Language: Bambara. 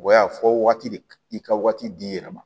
O y'a fɔ waati de i ka waati d'i yɛrɛ ma